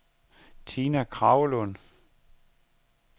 Tina Kragelund